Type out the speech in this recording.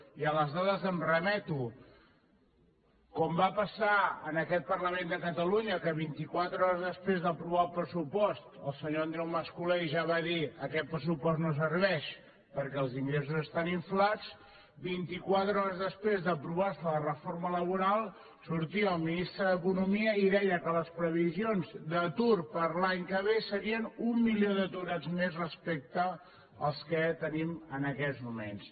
i a les dades em remeto com va passar en aquest parlament de catalunya que vint i quatre hores després d’aprovar el pressupost el senyor andreu mas colell ja va dir aquest pressupost no serveix perquè els ingressos estan inflats vint i quatre hores després d’aprovar se la reforma laboral sortia el ministre d’economia i deia que les previsions d’atur per a l’any que ve serien un milió d’aturats més respecte als que tenim en aquests moments